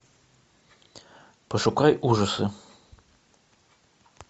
пошукай ужасы